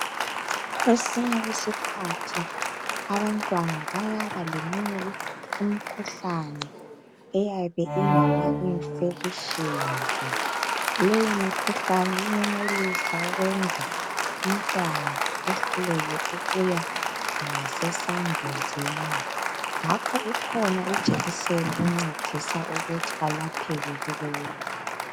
Kwesinye isikhathi abantwana bayaba leminye imikhuhlane eyabe ingama infections. Leyi imikhuhlane iyenelisa ukwenza umntwana ehluleke ukuya ngase sambuzini. Ngakho ikhona ijekiseni encedisa ukuthi alapheke kulokho.